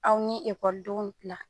Aw ni ekɔlidenw la